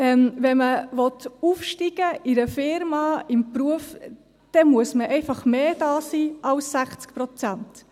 Wenn man aufsteigen will in einer Firma, im Beruf, dann muss man einfach mehr da sein als 60 Prozent.